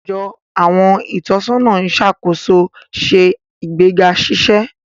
Ajo àwọn itọsọna iṣakoso ṣe igbega ṣiṣe.